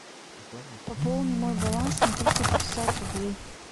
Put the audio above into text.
пополни мой баланс на триста пятьдесят рублей